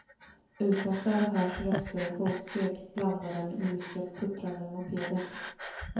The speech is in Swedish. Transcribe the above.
Utanför hörs röster och fotsteg, blandade med ilsket puttrande mopeder.